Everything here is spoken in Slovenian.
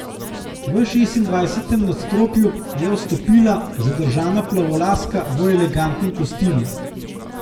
V šestindvajsetem nadstropju je vstopila zadržana plavolaska v elegantnem kostimu.